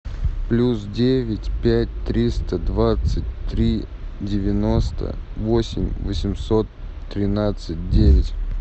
плюс девять пять триста двадцать три девяносто восемь восемьсот тринадцать девять